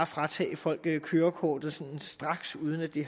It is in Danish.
fratage folk kørekortet sådan straks uden at det